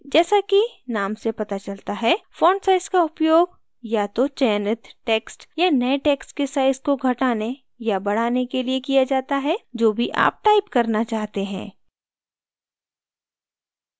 जैसा कि name से पता चलता हैfont size का उपयोग या तो चयनित text या नये text के size को घटाने या बढ़ाने के लिए किया जाता है जो भी आप type करना चाहते हैं